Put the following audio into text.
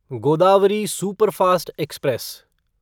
Godavari superfast express